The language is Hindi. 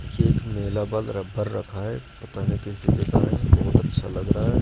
एक रखा है पता नहीं किस जगह का है बहोत अच्छा लग रहा--